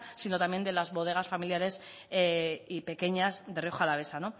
sino también de las bodegas familiares y pequeñas de rioja alavesa